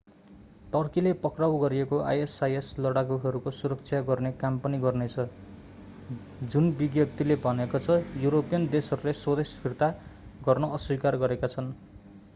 टर्कीले पक्राउ गरिएका isis लडाकूहरूको सुरक्षा गर्ने काम पनि गर्नेछ जुन विज्ञप्‍तिले भनेको छ युरोपियन देशहरूले स्वदेश फिर्ता गर्न अस्वीकार गरेका छन्।